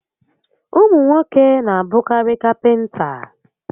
Ụmụ nwoke n'abụkarị kapịnta